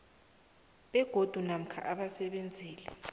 begodu namkha abasebenzeli